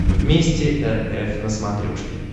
вместе эр эф на смотрешке